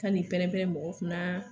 Kan'i pɛrɛnpɛrɛn mɔgɔ kunna